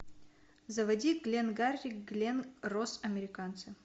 заводи гленгарри глен росс американцы